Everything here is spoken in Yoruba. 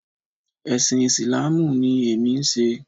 Ẹ̀sìn Ìsìláàmù ni èmi ń ṣe